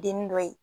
Denni dɔ ye